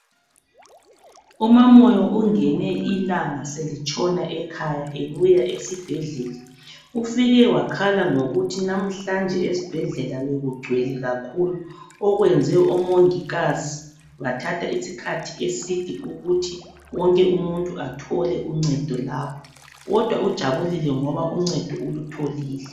UMaMoyo ungene ilanga selitshona ekhaya ebuya esibhedlela ufike wakhala ngokuthi lamhlanje esibhedlela bekugcwele kakhulu okuyenze omongikazi bathatha isikhathi eside ukuthi wonke umuntu athole uncedo lapha kodwa ujabulile ngoba uncedo ulutholile.